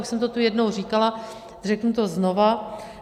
Už jsem to tu jednou říkala, řeknu to znovu.